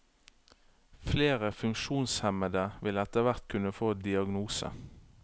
Flere funksjonshemmede vil etterhvert kunne få diagnose.